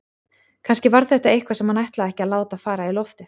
Kannski var þetta eitthvað sem hann ætlaði ekki að láta fara í loftið.